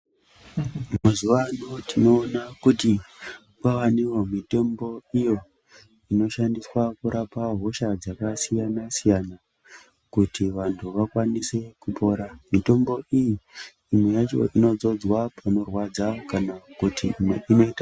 Mazuwa ano tinoona kuti kwaveniwo nemitombo iyo inoshandiswa kurapa hosha dzakasiyana-siyana kuti vantu vakwanise kupora . Mutombo iyi imwe yacho inodzodzwa panorwadza kana kuti imwe inoita.